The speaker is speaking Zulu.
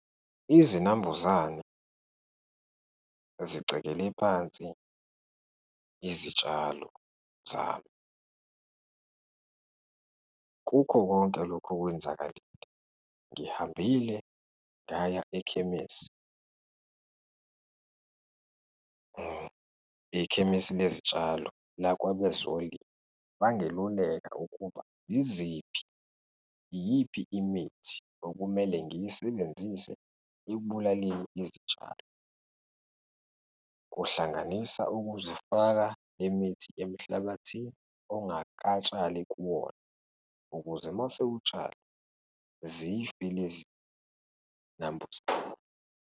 Izinambuzane zicekele phansi izitshalo zami. Kukho konke lokhu okwenzakalile, ngihambile ngaya ekhemisi, ekhemisi lezitshalo lakwabezolimo, bangeluleka ukuba yiziphi, iyiphi imithi okumele ngiyisebenzise ekubulaleni izitshalo, kuhlanganisa ukuzifaka imithi emhlabathini ongakatshali kuwona, ukuze uma usewutshala, zife lezi nambuzane.